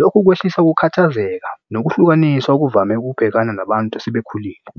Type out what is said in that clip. Lokhu kwehlisa ukukhathazeka nokuhlukanisa okuvame ukubhekana nabantu esebekhulile.